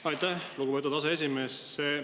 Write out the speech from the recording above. Aitäh, lugupeetud aseesimees!